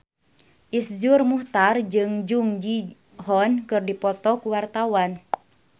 Iszur Muchtar jeung Jung Ji Hoon keur dipoto ku wartawan